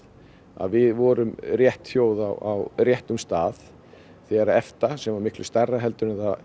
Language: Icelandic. að við vorum rétt þjóð á réttum stað þegar að EFTA sem var miklu stærra heldur en það